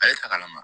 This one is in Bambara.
Ale ta ka na